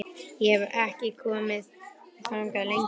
Ég hef ekki komið þangað lengi.